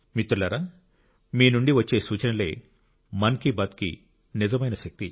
మిత్రులారా మీ నుండి వచ్చే సూచనలే మన్ కి బాత్కి నిజమైన శక్తి